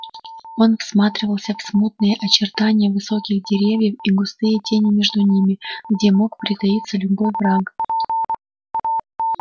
он всматривался в смутные очертания высоких деревьев и густые тени между ними где мог притаиться любой враг